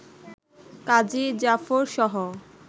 কাজী জাফরসহ